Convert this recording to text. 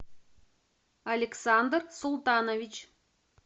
александр султанович